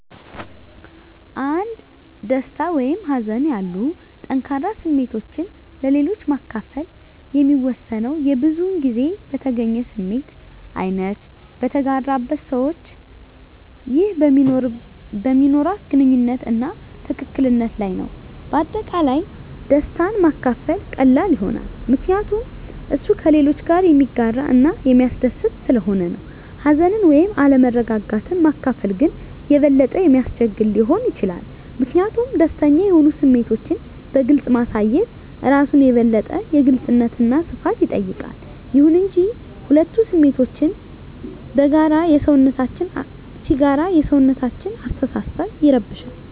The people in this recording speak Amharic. አንድ ደስታ ወይም ሀዘን ያሉ ጠንከር ስሜቶችን ለሌሎች ማከፈል የሚወሰነው የብዙዉን ጊዜ በተገኘው ስሜት አይነት፣ በተጋራበት ሰዋች ይህ በሚኖርዋት ግንኙነት አና ትክክል ነት ለይ ነዉ። በአጠቃላይ ደስታን ማካፈል ቀላል ይሆናል ምከንያቱም እሱ ከሌሎች ጋረ የሚያጋረ እና የሚስደስት ሰለሆነ ነው። ሀዘንን ወይም አለመረጋጋት ማካፈል ግን የበለጠ የሚያስቸግር ሊሆን ይችላል ሚኪንያቱም ደስተኛ የሆኑ ስሜቶችን በግልፅ ማሳየት እራሱን የበለጠ የግልጽነት አና ሰፋት ይጠይቃል። ይሁን እንጂ፣ ሁለቱ ስሜቶችን ሲጋራ የሰውነታችን አሰተሳሰብ ይረብሻል